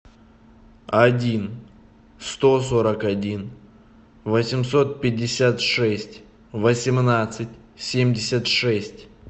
один сто сорок один восемьсот пятьдесят шесть восемнадцать семьдесят шесть